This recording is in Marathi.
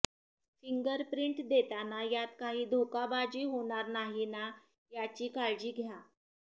फिंगर प्रिंट देताना यात काही धोकाबाजी होणार नाही ना याची काळजी घ्या